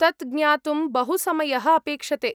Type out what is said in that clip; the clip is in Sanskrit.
तत् ज्ञातुं बहु समयः अपेक्षते।